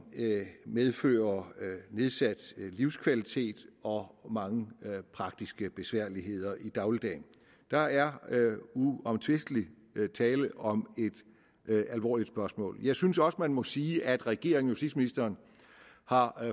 medfører nedsat livskvalitet og mange praktiske besværligheder i dagligdagen der er uomtvisteligt tale om et alvorligt spørgsmål jeg synes også man må sige at regeringen og justitsministeren har